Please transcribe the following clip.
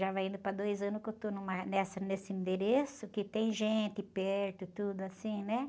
Já vai indo para dois anos que eu estou numa, nessa, nesse endereço, que tem gente perto, tudo assim, né?